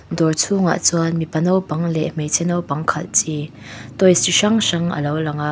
dawr chhuangah chuan mipa naupang leh hmeichhe naupang khalh chi toys chi hrang hrang alo lang a--